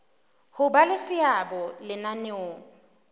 ho ba le seabo lenaneong